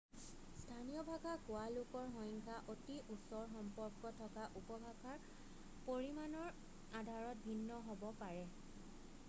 স্থানীয় ভাষা কোৱা লোকৰ সংখ্যা অতি ওচৰ সম্পৰ্ক থকা উপভাষাৰ পৰিমানৰ আধাৰত ভিন্ন হ'ব পাৰে